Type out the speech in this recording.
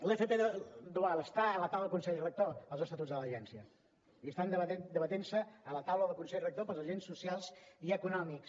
l’fp dual estan a la taula del consell rector els estatuts de l’agència i estan debatent se a la taula del consell rector pels agents socials i econòmics